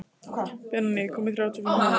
Benóný, ég kom með þrjátíu og fimm húfur!